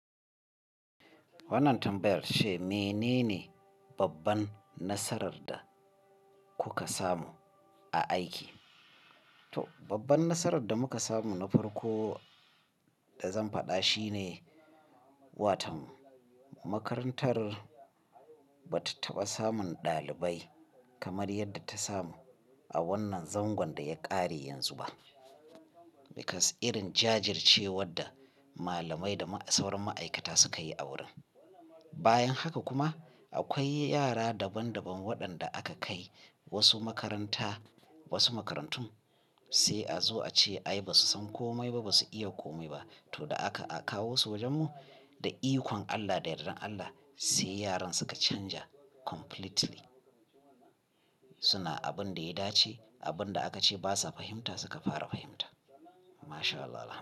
Wannan tambayar ce me nene, babban nasarar da kuka samu a aiki? To babban nasarar da muka samu na farko da zan faɗa shi ne, watan makarantar ba ta taɓa samun ɗalibai kamar yadda ta samu a wannan zangon da ya ƙare yanzu ba. Because irin jajircewar da malamai da sauran ma'aikata suka yi a wurin. Bayan haka kuma akwai yara daban daban waɗanda aka kai wasu makaranta, wasu makarantun sai a zo a ce "ai ba su san komai ba, ba su iya komai ba", to da aka a kawo su wajenmu da ikon Allah da yardar Allah sai yaran suka canja completely. Suna abin da ya dace, abin da aka ce ba sa fahimta suka fara fahimta. MashAllah Allah.